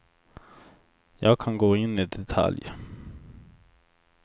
Jag kan gå in i detalj.